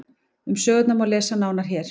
Um sögurnar má lesa nánar hér.